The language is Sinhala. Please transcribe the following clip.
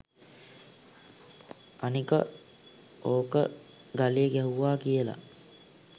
අනික ඕක ගලේ ගැහුවා කියල